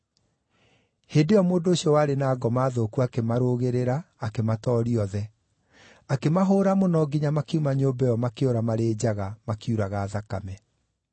Hĩndĩ ĩyo mũndũ ũcio warĩ na ngoma thũku akĩmarũgĩrĩra akĩmatooria othe. Akĩmahũũra mũno nginya makiuma nyũmba ĩyo makĩũra marĩ njaga makiuraga thakame.